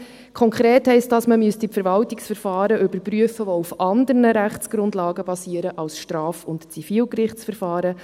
Konkret heisst dies, dass man die Verwaltungsverfahren überprüfen müsste, welche auf anderen Rechtsgrundlagen basieren als auf Straf- und Zivilgerichtsverfahren.